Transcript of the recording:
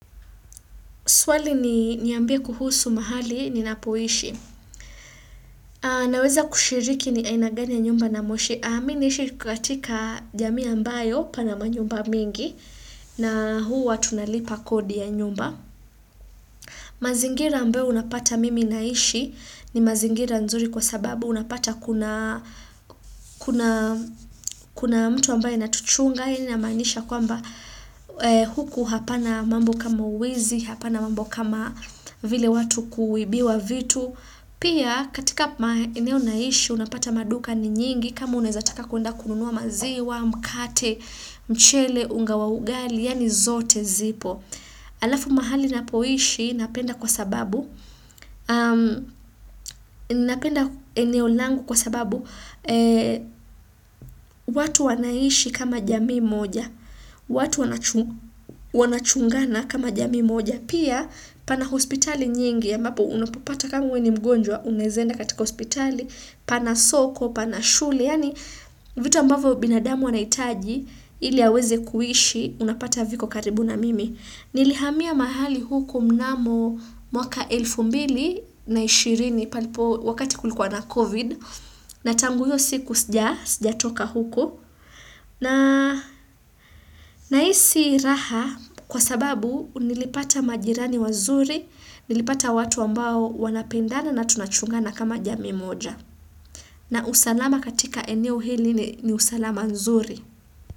Swali ni niambie kuhusu mahali ninapoishi. Naweza kushiriki ni aina gani ya nyumba namoishi. Me naishi katika jamii ambayo pana manyumba mingi. Na huwa tunalipa kodi ya nyumba. Mazingira ambayo unapata mimi naishi ni mazingira nzuri kwa sababu. Unapata kuna mtu ambaye anatuchunga. Hii inamaanisha kwamba huku hapana mambo kama wizi, hapana mambo kama vile watu kuibiwa vitu. Pia katika maeneo naishi unapata maduka ni nyingi kama unawezataka kuenda kununuwa maziwa, mkate, mchele, unga wa ugali, yani zote zipo. Halafu mahali ninapoishi napenda kwa sababu, napenda eneo langu kwa sababu, watu wanaishi kama jamii moja watu wana chungana kama jamii moja pia pana hospitali nyingi ambapo unapopata kama wewe ni mgonjwa unawezaenda katika hospitali, pana soko, pana shule yani vitu ambavyo binadamu anahitaji ili aweze kuishi unapata viko karibu na mimi. Nilihamia mahali huku mnamo mwaka elfu mbili na ishirini wakati kulikuwa na COVID na tangu hiyo siku sija toka huko ninahisi raha kwa sababu nilipata majirani wazuri nilipata watu ambao wanapendana na tunachungana kama jamii moja na usalama katika eneo hili ni usalama nzuri.